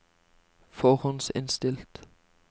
forhåndsinnstilt